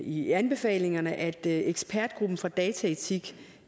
i anbefalingerne at ekspertgruppen for dataetik